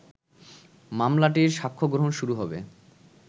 মামলাটির সাক্ষ্যগ্রহণ শুরু হবে